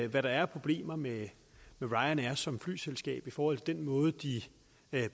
hvad der er af problemer med ryanair som flyselskab i forhold til den måde de